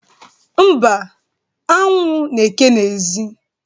Mba, anwụ n’eke n’ezi.